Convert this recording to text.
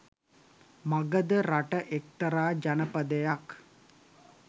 මගධ රට එක්තරා ජනපදයක්